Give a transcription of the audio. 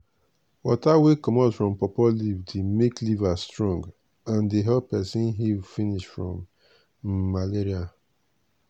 water wey comot from pawpaw leaf dey make liver strong and dey help peson heal finish from um malaria.